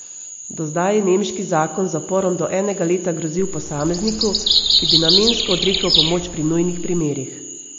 Do zdaj je nemški zakon z zaporom do enega leta grozil posamezniku, ki bi namensko odrekel pomoč pri nujnih primerih.